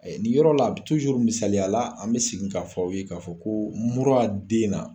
Nin yɔrɔ la misaliya la an bɛ segin k'a fɔ aw ye k'a fɔ ko mura den na